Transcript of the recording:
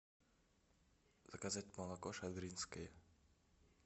заказать молоко шадринское